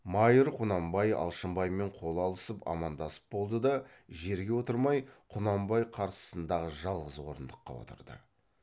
майыр құнанбай алшынбаймен қол алысып амандасып болды да жерге отырмай құнанбай қарсысындағы жалғыз орындыққа отырды